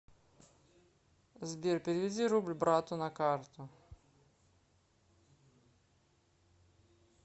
сбер переведи рубль брату на карту